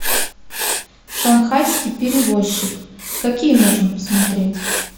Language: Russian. шанхайский перевозчик какие можно посмотреть